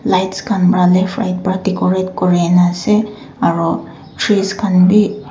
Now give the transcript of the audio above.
lights khan pra left right pra decorate kuri na ase aro trees khan be--